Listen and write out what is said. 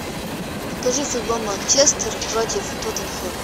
покажи футбол манчестер против тоттенхэма